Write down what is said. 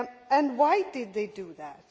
And why did they do that?